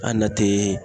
An nati